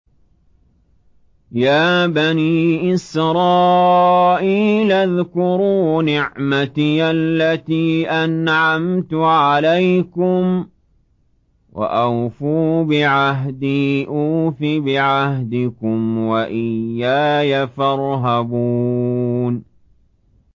يَا بَنِي إِسْرَائِيلَ اذْكُرُوا نِعْمَتِيَ الَّتِي أَنْعَمْتُ عَلَيْكُمْ وَأَوْفُوا بِعَهْدِي أُوفِ بِعَهْدِكُمْ وَإِيَّايَ فَارْهَبُونِ